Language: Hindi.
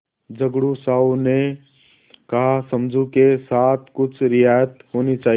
झगड़ू साहु ने कहासमझू के साथ कुछ रियायत होनी चाहिए